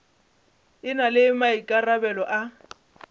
e na le maikarabelo a